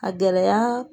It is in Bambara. A gɛlɛya